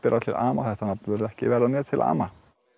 til ama þetta nafn mun ekki verða mér til ama